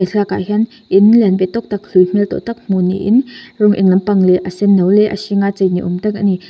he thlalak ah hian in lian ve tawk tak hlui hmel tawh tak hmuh niin rawng eng lampang leh a senno leh a hring a chei ni awm tak a ni.